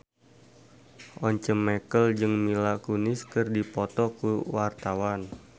Once Mekel jeung Mila Kunis keur dipoto ku wartawan